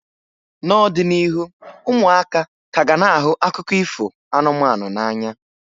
N'ọdịnihu, ụmụaka ka ga na akụkọ ifo anụmanụ n'anya.